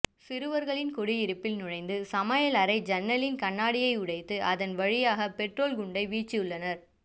சிறுவர்களின் குடியிருப்பில் நுழைந்து சமையலறை ஜன்னலின் கண்ணாடியை உடைத்து அதன் வழியாக பெட்ரோல் குண்டை வீசியுள்ளனர்